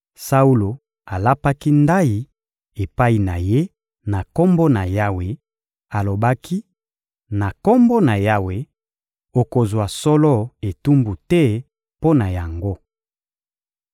Saulo alapaki ndayi epai na ye na Kombo na Yawe, alobaki: «Na Kombo na Yawe, okozwa solo etumbu te mpo na yango.»